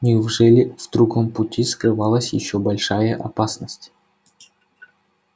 неужели в другом пути скрывалась ещё большая опасность